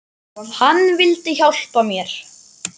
Hann vildi hjálpa mér.